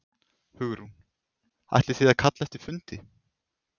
Hugrún: Ætlið þið að kalla eftir fundi?